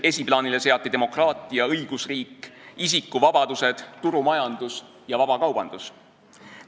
Esiplaanile seati demokraatia, õigusriik, isikuvabadused, turumajandus ja vabakaubandus.